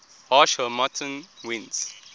harsh harmattan winds